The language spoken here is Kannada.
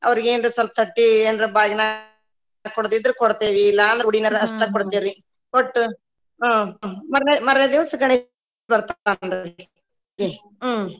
ಅವ್ರಿಗೇನ್ರಾ ಸ್ವಲ್ಪ ತಟ್ಟಿ ಎನ್ರಾ ಬಾಗನಾ ಕೊಡೊದ ಇದ್ರ ಕೊಡ್ತೇವ್ರಿ ಇಲ್ಲಾ ಅಂದ್ರ ಉಡಿ ಮ್ಯಾಲ ಅಷ್ಟ ಕೊಡ್ತೇವ್ರಿ ಕೊಟ್ಟು ಹುಂ ಮರ್ನೆ ಮರ್ನೆ ದಿವಸ ಗಣೇಶ ಬರ್ತಾನ್ರಿ ಹ್ಮ್‌.